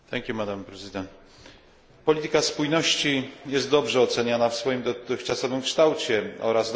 Polityka spójności jest dobrze oceniana w swoim dotychczasowym kształcie oraz dobrze oceniane są jej rezultaty.